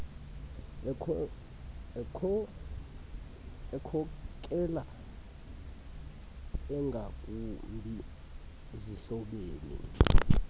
yokhokelo engakumbi zihlobene